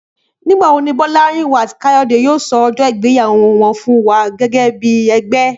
Nígbà wo ni Bọ́lárìnwá àti Káyọ̀dé yóò sọ ọjọ́ ìgbéyàwó wọn fún wa gẹ́gẹ́ bí ẹgbẹ́?